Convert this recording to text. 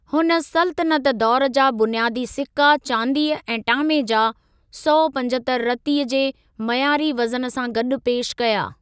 हुन सल्तनत दौर जा बुनियादी सिक्का चांदीअ ऐं टामे जा, सौ पंजतर रतीअ जे मयारी वज़न सां गॾु पेशि कया।